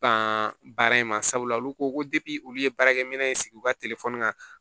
Ban baara in ma sabula olu ko ko olu ye baarakɛ minɛ in sigi u ka telefɔni kan